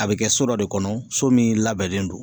A be kɛ so dɔ de kɔnɔ so min labɛnnen don